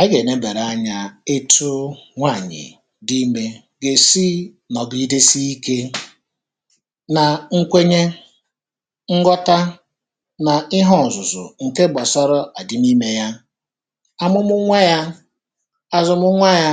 Anyị ga-enabara anya etụ nwaanyị̀ dị ime ga-esi nọ̀gidesi ike na nkwenye nghọta na ihe ọ̀zụ̀zụ̀ ǹke gbasara adịm ime ya, amụmụ nwa ya, azụmụ nwa ya,